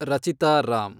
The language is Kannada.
ರಚಿತಾ ರಾಮ್